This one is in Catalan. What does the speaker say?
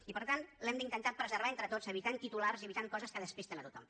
i per tant l’hem d’intentar preservar entre tots evitant titulars i evitant coses que despisten a tothom